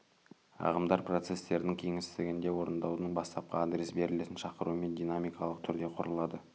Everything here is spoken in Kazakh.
ағымдар процестердің кеңістігінде орындаудың бастапқы адресі берілетін шақырумен динамикалық түрде құрылады